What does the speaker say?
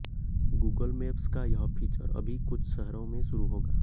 Google Maps का यह feature अभी कुछ शहरों में शुरू होगा